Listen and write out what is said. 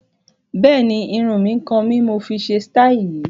Bẹ́ẹ̀ni, Irun mi nì kan ni mọ fi ṣe síítì yìí